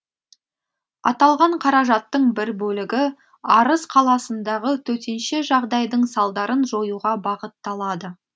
аталған қаражаттың бір бөлігі арыс қаласындағы төтенше жағдайдың салдарын жоюға бағытталады